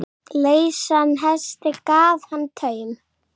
Lausan hesti gaf hann taum.